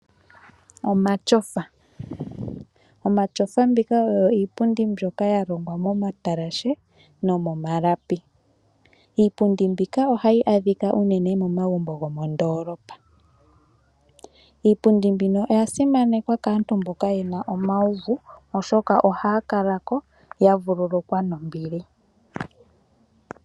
Omatyofa. Omatyofa mbika oyo iipundi mbyoka yalongwa momatalashe nomomalapi . Iipundi mbika ohayi adhika unene momagumbo gomondoolopa. Iipundi mbino oya simanekwa kaantu mboka yena uuvu oshoka ohaya kalako ya vululukwa nombili.